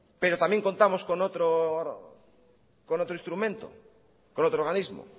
pero también contamos con otro instrumento con otro organismo